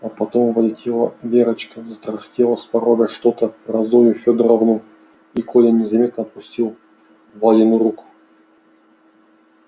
а потом влетела верочка затарахтела с порога что-то про зою фёдоровну и коля незаметно отпустил валину руку